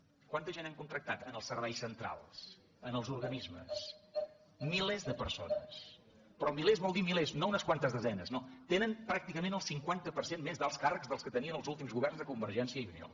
quanta gent han contractat en els serveis centrals en els organismes milers de persones però milers vol dir milers no unes quantes desenes no tenen pràcticament el cinquanta per cent més d’alts càrrecs dels que tenien els últims governs de convergència i unió